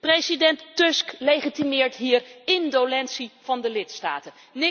President Tusk legitimeert hier indolentie van de lidstaten.